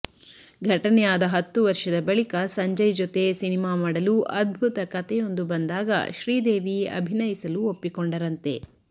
ಘಟನೆಯಾದ ಹತ್ತು ವರ್ಷದ ಬಳಿಕ ಸಂಜಯ್ ಜೊತೆ ಸಿನಿಮಾ ಮಾಡಲು ಅದ್ಭುತ ಕತೆಯೊಂದು ಬಂದಾಗ ಶ್ರೀದೇವಿ ಅಭಿನಯಿಸಲು ಒಪ್ಪಿಕೊಂಡರಂತೆ